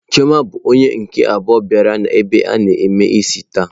Chioma bụ onye nke abụọ bịara ebe a na eme isi taa.